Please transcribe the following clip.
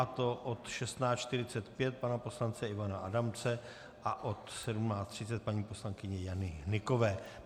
A to od 16.45 pana poslance Ivana Adamce a od 17.30 paní poslankyně Jany Hnykové.